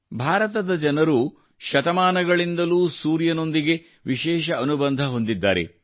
ಭಾರತದ ಜನರು ಶತಮಾನಗಳಿಂದಲೂ ಸೂರ್ಯನೊಂದಿಗೆ ವಿಶೇಷ ಅನುಬಂಧ ಹೊಂದಿದ್ದಾರೆ